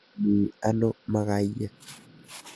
Mi ano makayek.